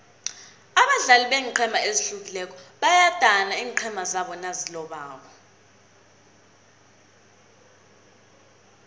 abadlali beenqhema ezihlukileko bayadana iinqhema zabo nazilobako